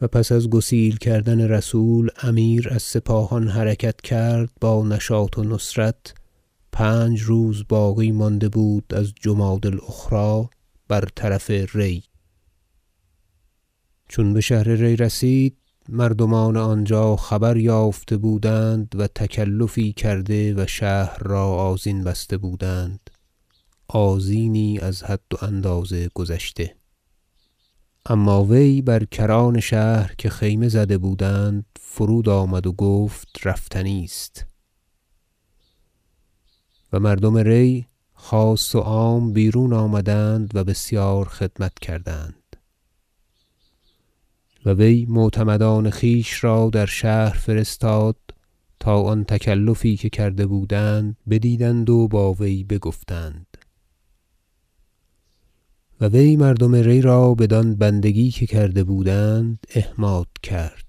و پس از گسیل کردن رسول امیر از سپاهان حرکت کرد با نشاط و نصرت پنج روز باقی مانده بود از جمادی الاخری بر طرف ری چون به شهر ری رسید مردمان آنجا خبر یافته بودند و تکلفی کرده و شهر را آذین بسته بودند آذینی از حد و اندازه گذشته اما وی بر کران شهر که خیمه زده بودند فرود آمد و گفت رفتنی است و مردم ری خاص و عام بیرون آمدند و بسیار خدمت کردند و وی معتمدان خویش را در شهر فرستاد تا آن تکلفی که کرده بودند بدیدند و با وی گفتند و وی مردم ری را بدان بندگی که کرده بودند احماد کرد